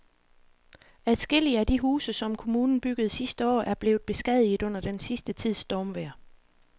Adskillige af de huse, som kommunen byggede sidste år, er blevet beskadiget under den sidste tids stormvejr.